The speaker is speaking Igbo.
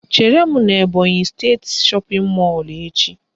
Chere m n'Ebọnyị steeti shọpịn mọlụ echi